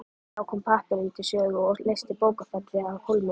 Þá kom pappírinn til sögu og leysti bókfellið af hólmi.